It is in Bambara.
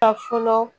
Ka fɔlɔ